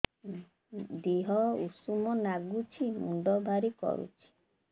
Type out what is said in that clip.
ଦିହ ଉଷୁମ ନାଗୁଚି ମୁଣ୍ଡ ଭାରି କରୁଚି